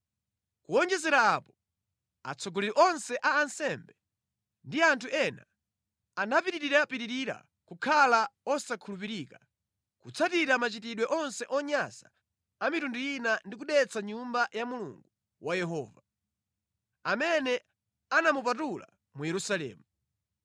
Kuwonjezera apo, atsogoleri onse a ansembe ndi anthu ena anapitirapitira kukhala osakhulupirika, kutsatira machitidwe onse onyansa a mitundu ina ndi kudetsa Nyumba ya Yehova Mulungu wawo, imene anayipatula mu Yerusalemu.